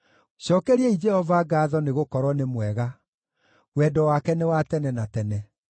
Cookeriai Jehova ngaatho nĩgũkorwo nĩ mwega; wendo wake nĩ wa tene na tene.